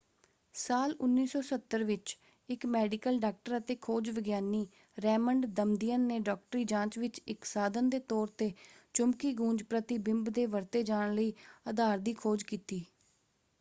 ਸਾਲ 1970 ਵਿੱਚ ਇੱਕ ਮੈਡੀਕਲ ਡਾਕਟਰ ਅਤੇ ਖੋਜ ਵਿਗਿਆਨੀ ਰੇਮੰਡ ਦਮਦਿਅਨ ਨੇ ਡਾਕਟਰੀ ਜਾਂਚ ਵਿੱਚ ਇੱਕ ਸਾਧਨ ਦੇ ਤੌਰ 'ਤੇ ਚੁੰਬਕੀ ਗੂੰਜ ਪ੍ਰਤੀਬਿੰਬ ਦੇ ਵਰਤੇ ਜਾਣ ਲਈ ਅਧਾਰ ਦੀ ਖੋਜ ਕੀਤੀ।